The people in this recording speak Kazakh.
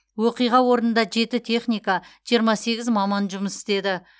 оқиға орнында жеті техника жиырма сегіз маман жұмыс істеді